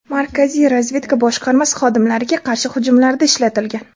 Markaziy razvedka boshqarmasi xodimlariga qarshi hujumlarda ishlatilgan.